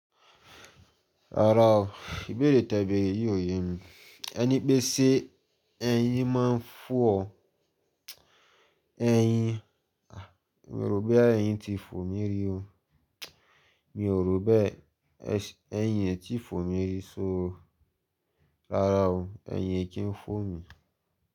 Rárá o, ìbéèrè tẹ̀ bẹ̀ere yíò yẹn ni. Ẹni pé sé ẹ̀yìn máa ń fú ọ. Ẹ̀yìn, mi ò rò pé ẹ̀yìn ti fò mí rí o. Mi ò rò beé ẹ̀yìn ẹ ti fò mí rí o. Rárá o, ẹ̀yìn kí ń fò mí.